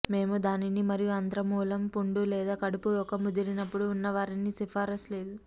మేము దానిని మరియు ఆంత్రమూలం పుండు లేదా కడుపు ఒక ముదిరినప్పుడు ఉన్నవారిని సిఫార్సు లేదు